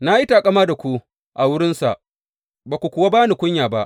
Na yi taƙama da ku a wurinsa, ba ku kuwa ba ni kunya ba.